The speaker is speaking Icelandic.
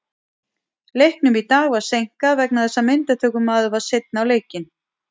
Leiknum í dag var seinkað vegna þess að myndatökumaður var seinn á leikinn.